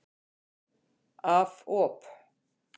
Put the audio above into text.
Af op.